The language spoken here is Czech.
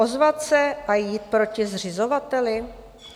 Ozvat se a jít proti zřizovateli?